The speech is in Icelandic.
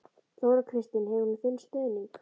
Þóra Kristín: Hefur hún þinn stuðning?